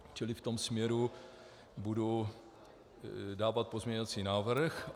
Čili v tom směru budu dávat pozměňovací návrh.